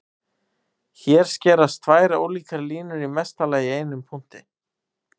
Hér skerast tvær ólíkar línur í mesta lagi í einum punkti.